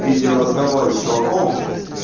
в видео разговоре с чуваком